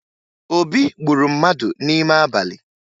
Obi gburu mmadụ n'ime abalị